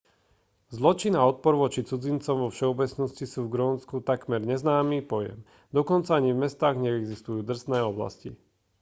zločin a odpor voči cudzincom vo všeobecnosti sú v grónsku takmer neznámy pojem dokonca ani v mestách neexistujú drsné oblasti